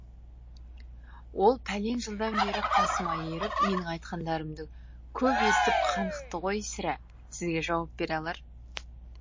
ол пәлен жылдан бері қасыма еріп менің айтқандарымды көп естіп қанықты ғой сірә сізге жауап бере алар